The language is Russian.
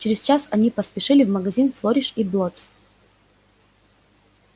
через час они поспешили в магазин флориш и блоттс